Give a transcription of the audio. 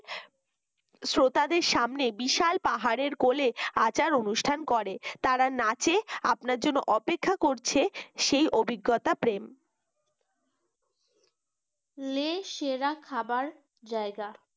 শ্রোতাদের সামনে বিশাল পাহাড়ের কোলে আচার অনুষ্ঠান করে। তারা নাচে আপনার জন্য অপেক্ষা করছে সেই অভিজ্ঞতা প্রেম। লে সেরা খাবার জায়গা